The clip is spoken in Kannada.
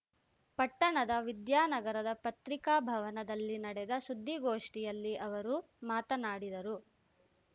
ಪಟ್ಟಣದ ವಿದ್ಯಾನಗರದ ಪತ್ರಿಕಾ ಭವನದಲ್ಲಿ ನಡೆದ ಸುದ್ದಿಗೋಷ್ಠಿಯಲ್ಲಿ ಅವರು ಮಾತನಾಡಿದರು